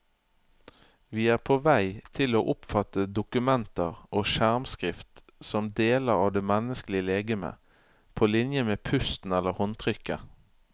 Vi er på vei til å oppfatte dokumenter og skjermskrift som deler av det menneskelige legeme, på linje med pusten eller håndtrykket.